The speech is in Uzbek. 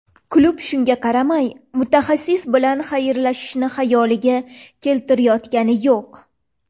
Klub shunga qaramay mutaxassis bilan xayrlashishni xayoliga keltirayotgani yo‘q.